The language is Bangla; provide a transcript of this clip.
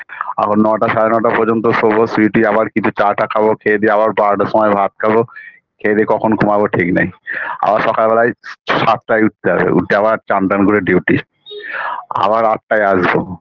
আবার নটা সাড়ে নটা পর্যন্ত শোবো শুয় টুয়ে আবার কিছু চা টা খাবো খেয়ে দেয়ে আবার বারোটার সময় ভাত খাব খেয়ে দেয়ে কখন ঘুমাবো ঠিক নেই আবার সকালবেলায় সাতটায় উঠতে হবে উঠে আবার চানটান করে duty আবার আটটায় আসবো